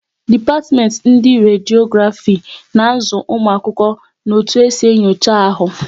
Dipatimenti ndị Rediografi na azụ ụmụ akwụkwọ na otu esi enyocha ahu